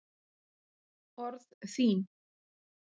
Orð þín